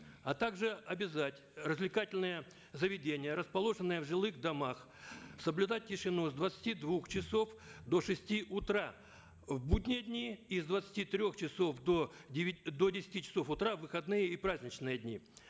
а также обязать развлекательные заведения расположенные в жилых домах соблюдать тишину с двадцати двух часов до шести утра в будние дни и с двадцати трех часов до до десяти часов утра в выходные и праздничные дни